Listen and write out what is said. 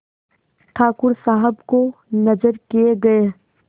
ठाकुर साहब को नजर किये गये